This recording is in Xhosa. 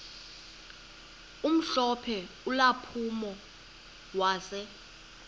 omhlophe ulampulo wase